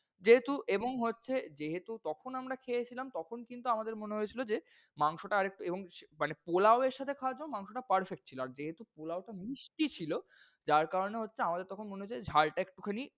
যেহেতু এবং হচ্ছে যেহেতু তখন আমরা খেয়েছিলাম, তখন কিন্তু আমাদের মনে হয়েছিল যে মাংস টা আর একটু এবং মানে পোলাও এর সাথে খাওয়ার জন্য মাংস টা perfect ছিল। আর যেহেতু পোলাও টা মিষ্টি ছিল যার কারণে হচ্ছে আমাদের তখন মনে হয়েছে ঝাল টা একটুখানি,